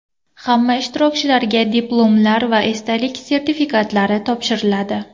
Hamma ishtirokchilarga diplomlar va esdalik sertifikatlari topshiriladi.